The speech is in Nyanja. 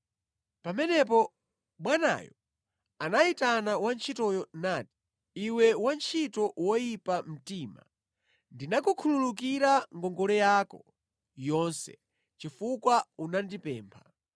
“Pamenepo bwanayo anayitana wantchitoyo nati, ‘Iwe wantchito woyipa mtima, ndinakukhululukira ngongole yako yonse chifukwa unandipempha.